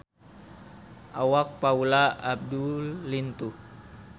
Awak Paula Abdul lintuh